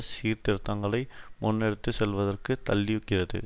சீர்திருத்தங்களை முன்னெடுத்து செல்வதற்கு தள்ளுகிறது